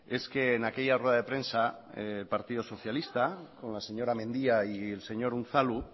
es que en aquella rueda de prensa el partido socialista con la señora mendia y el señor unzalu